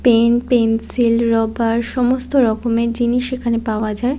Pen pencil rubber সমস্ত রকমের জিনিস এখানে পাওয়া যায়।